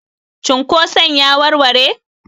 cunkoson ya warware?